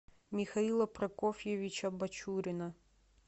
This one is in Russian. михаила прокофьевича бачурина